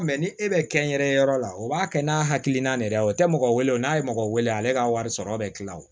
ni e bɛ kɛnyɛrɛye yɔrɔ la o b'a kɛ n'a hakilina de ye o tɛ mɔgɔ wele o n'a ye mɔgɔ wele ale ka wari sɔrɔ bɛ tila o